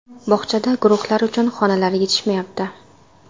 Bog‘chada guruhlar uchun xonalar yetishmayapti.